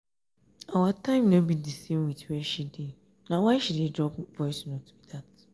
our time no be di same wit where she dey na why she dey drop voice note.